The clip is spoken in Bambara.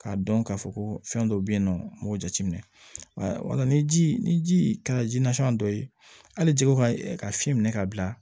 K'a dɔn k'a fɔ ko fɛn dɔ be yen nɔ n b'o jateminɛ wala ni ji ni ji kɛra ji dɔ ye hali jɛgɛ ka fiɲɛ minɛ ka bila